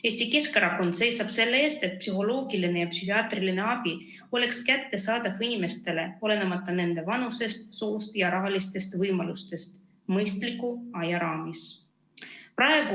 Eesti Keskerakond seisab selle eest, et psühholoogiline ja psühhiaatriline abi oleks kättesaadav kõigile inimestele, olenemata nende vanusest, soost ja rahalistest võimalustest, mõistliku aja raames.